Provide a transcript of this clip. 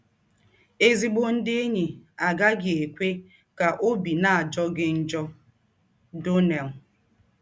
“ Ezịgbọ ndị enyi agaghị ekwe ka ọbi na - ajọ gị njọ. ”— Donnell.